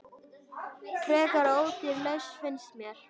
Frekar ódýr lausn, finnst mér.